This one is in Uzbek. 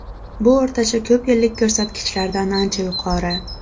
Bu o‘rtacha ko‘p yillik ko‘rsatkichlardan ancha yuqori.